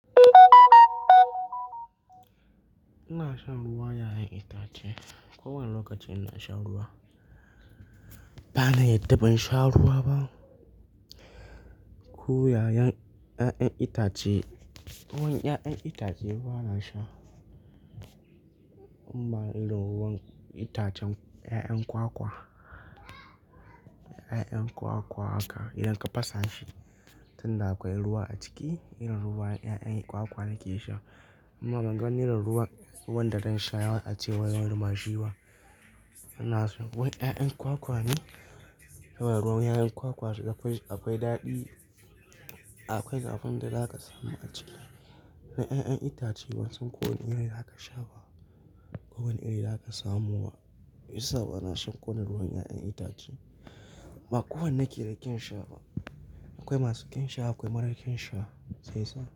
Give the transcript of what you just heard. Ina shan ruwan 'ya'yan itace. Ko wane lokaci ina shan ruwa. Ba na yarda ban sha ruwa ba. Ko ruwan 'ya'yan itace, ko wani 'ya'yan itace ba na sha. Amma idan ruwan itacen 'ya'yan kwakwa, 'ya'yan kwakwa haka idan ka fasa shi, tunda akwai ruwa a ciki, idan ruwan 'ya'yan kwakwa nake sha. Amma ban gan irin ruwan, ruwan da zan sha yawan a cewa ruwan bashiba. Ina so wai 'ya'yan kwakwa ne? Saboda ruwan 'ya'yan kwakwa sha akwai daɗi. Akwai zafin da za ka samu a ciki. Na 'ya'yan itace wasu ko wane irin za ka sha ba. Ko wani iri za ka samu ma. Shiyasa ba na shan ko wane ruwan 'ya'yan itace. Ba kowane yake da kyan sha ba. Akwai masu kyan sha, akwai marar kyan sha. Sai sa.